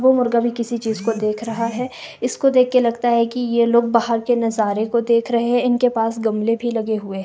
वो मुर्गा भी किसी चीज को देख रहा है इसको देख के लगता है कि यह लोग बाहर के नजारे को देख रहे हैं इनके पास गमले भी लगे हुए --